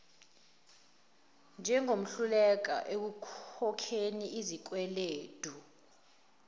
njengohluleka ukukhokhela izikweledu